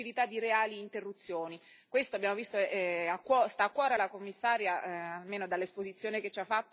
questo, abbiamo visto, sta a cuore al Commissario, almeno dall'esposizione che ci ha fatto risulta abbastanza chiaro.